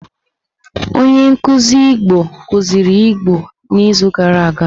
Onye nkuzi Igbo kuziri Igbo n'izuụka gara aga.